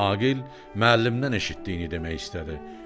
Aqil müəllimdən eşitdiyini demək istədi.